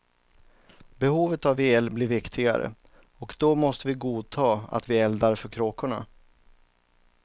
Behovet av el blir viktigare och då måste vi godta att vi eldar för kråkorna.